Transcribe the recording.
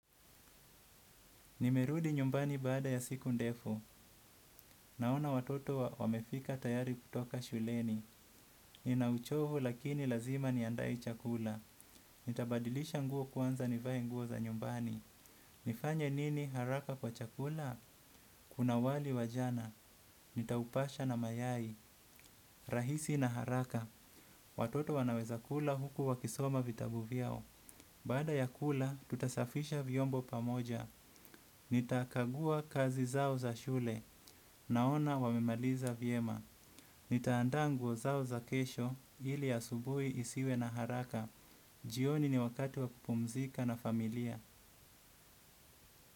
Nimerudi nyumbani baada ya siku ndefu. Naona watoto wamefika tayari kutoka shuleni. Nina uchovu lakini lazima niandae chakula. Nitabadilisha nguo kwanza nivae nguo za nyumbani. Nifanye nini haraka kwa chakula? Kuna wali wa jana. Nitaupasha na mayai. Rahisi na haraka. Watoto wanaweza kula huku wakisoma vitabu vyao. Baada ya kula, tutasafisha vyombo pamoja. Nitakagua kazi zao za shule naona wamemaliza vyema. Nitaanda nguo zao za kesho ili asubui isiwe na haraka. Jioni ni wakati wa kupumzika na familia.